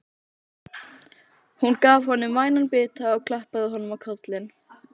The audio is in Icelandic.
Hún gaf honum vænan bita og klappaði honum á kollinn.